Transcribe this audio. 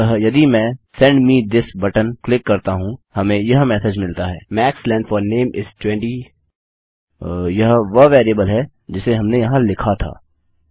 अतः यदि मैं सेंड मे थिस बटन क्लिक करता हूँ हमें यह मेसेज मिलता है the max length of the name is 20 यह वह वेरिएबल है जिसे हमने यहाँ लिखा था